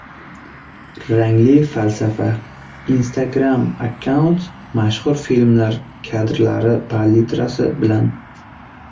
Rangli falsafa: Instagram-akkaunt mashhur filmlar kadrlari palitrasi bilan.